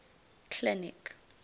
clinic